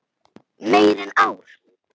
Meira en ár.